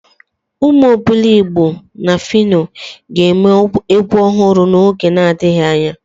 Umu Obiligbo na Fino ga-eme egwu ohuru n'oge adighi anya.